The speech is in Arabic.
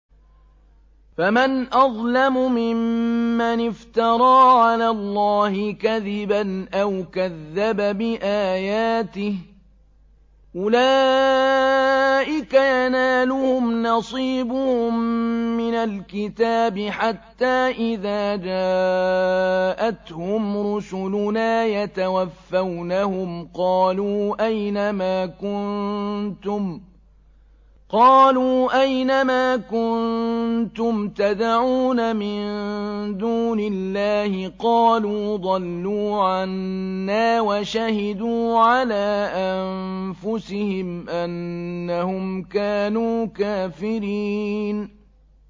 فَمَنْ أَظْلَمُ مِمَّنِ افْتَرَىٰ عَلَى اللَّهِ كَذِبًا أَوْ كَذَّبَ بِآيَاتِهِ ۚ أُولَٰئِكَ يَنَالُهُمْ نَصِيبُهُم مِّنَ الْكِتَابِ ۖ حَتَّىٰ إِذَا جَاءَتْهُمْ رُسُلُنَا يَتَوَفَّوْنَهُمْ قَالُوا أَيْنَ مَا كُنتُمْ تَدْعُونَ مِن دُونِ اللَّهِ ۖ قَالُوا ضَلُّوا عَنَّا وَشَهِدُوا عَلَىٰ أَنفُسِهِمْ أَنَّهُمْ كَانُوا كَافِرِينَ